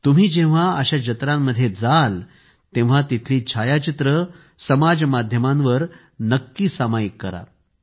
तुम्ही जेव्हा अशा जत्रांमध्ये जाल तेव्हा तेथील छायाचित्रे समाज माध्यमांवर नक्की सामायिक करा